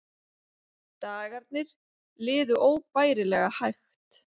Dagarnir liðu óbærilega hægt.